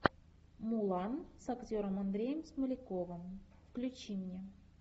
мулан с актером андреем смоляковым включи мне